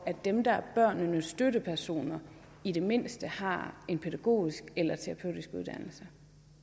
dem der er børnenes støttepersoner i det mindste har en pædagogisk eller terapeutisk uddannelse